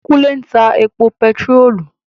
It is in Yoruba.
Kúnlé ń ta epo bèntiróòlù